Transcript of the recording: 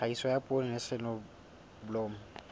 tlhahiso ya poone le soneblomo